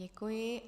Děkuji.